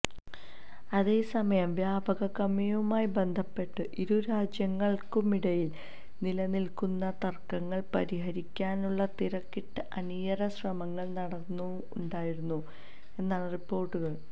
അതേസമയം വ്യപാരക്കമ്മിയുമായി ബന്ധപ്പെട്ട് ഇരു രാജ്യങ്ങള്ക്കുമിടയില് നിലനില്ക്കുന്ന തര്ക്കങ്ങള് പരിഹരിക്കാനുള്ള തിരക്കിട്ട അണിയറ ശ്രമങ്ങള് നടക്കുന്നുണ്ടായിരുന്നു എന്നാണ് റിപ്പോര്ട്ടുകള്